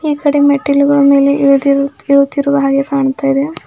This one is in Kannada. ಈ ಕಡೆ ಮೆಟ್ಟಿಲುಗಳ ಮೇಲೆ ಇಳಿದಿರು ತಿರುತ್ತಿರುವ ಹಾಗೆ ಕಾಣ್ತಾ ಇದೆ.